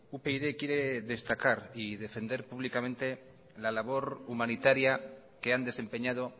upyd quiere destacar y defender públicamente la labor humanitaria que han desempeñado